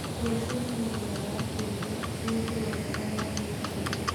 Rũciũ nĩ mũthenya wa kiumia mũndũ wothe agathiĩ kanitha